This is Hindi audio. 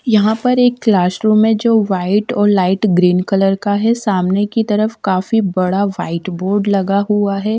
यहां पर एक क्लासरूम है जो वाइट और लाइट ग्रीन कलर का है सामने की तरफ काफी बड़ा वाइट बोर्ड लगा हुआ है ।